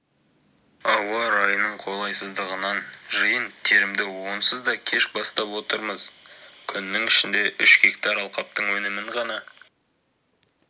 ауа райының қолайсыздығынан жиын-терімді онсыз да кеш бастап отырмыз күннің ішінде үш гектар алқаптың өнімін ғана